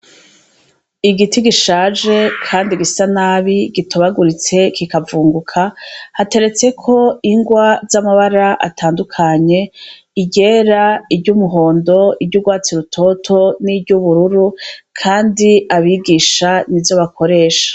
Igiti gishaje kandi gisa nabi gitobaguritse kikavunguka hateretseko ingwa z'amabara atandukanye; iryera, iry'umuhondo, iry'ugwatsi rutoto niry'ubururu. Kandi abigisha nizo bakoresha.